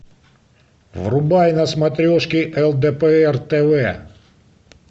врубай на смотрешке лдпр тв